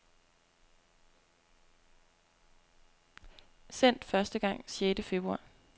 Sendt første gang sjette februar.